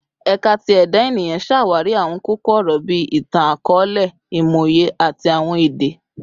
Ẹka ti Eda Eniyan ṣawari awọn koko-ọrọ bii Itan-akọọlẹ, Imọye, ati Awọn Ede